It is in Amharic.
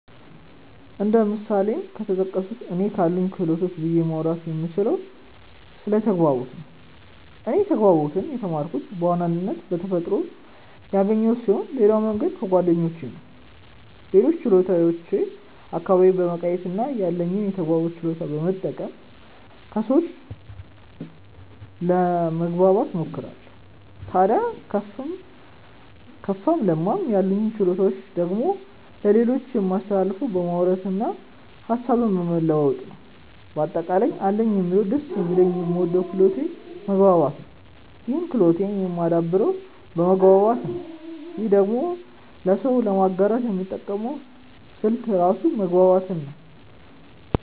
እንደ ምሳሌም ከተጠቀሱት እኔ ካሉኝ ክህሎቶች ብዬ ማውራት የምችለው ስለ ተግባቦት ነው። እኔ ተግባቦትን የተማርኩት በዋናነት በተፈጥሮ ያገኘሁት ስሆን ሌላው መንገድ ከጓደኞቼ ነው። ሌሎችን ችሎታዎች አካባቢዬን በመቃኘት እና ያለኝን የተግባቦት ችሎታ በመጠቀም ከሰዎች ለመማ እሞክራለው። ታድያ ከፋም ለማም ያሉኝን ችሎታዎች ደግሞ ለሌሎች የማስተላልፈው በማውራት እና ሀሳብን በመለዋወጥ ነው። በአጠቃላይ አለኝ የምለው ደስ የሚለኝ የምወደው ክህሎቴ መግባባት ነው ይህን ክህሎቴን የማደብረው በመግባባት ነው ይህንኑ ደግሞ ለሰው ለማጋራት የምጠቀመው ስልት ራሱ መግባባትን ነው።